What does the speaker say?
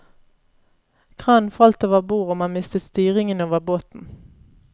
Kranen falt over bord og man miste styringen over båten.